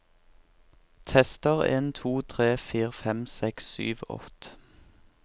Tester en to tre fire fem seks sju åtte